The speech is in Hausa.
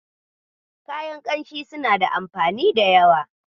Kayan ƙamshi suna da anfani da yawa.